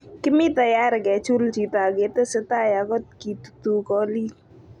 "Kimii tayari kechul chito aketesetai aklt kitutuu koliik".